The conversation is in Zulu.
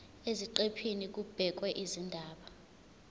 eziqephini kubhekwe izindaba